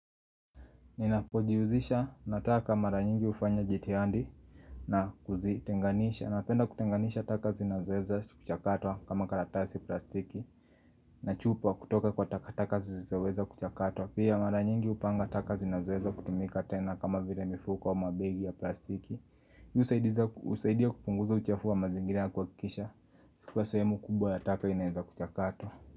Ninapojihusisha na taka mara nyingi hufanya jitihadi na kuzitenganisha Napenda kutenganisha taka zinazoweza kuchakatwa kama karatasi plastiki na chupa kutoka kwa takataka zisizoweza kuchakatwa Pia mara nyingi hupanga taka zinazoweza kutumika tena kama vile mifuko ama mabegi ya plastiki husaidia kupunguza uchafu wa mazingira na kuhakikisha kua sehemu kubwa ya taka inaweza kuchakatwa.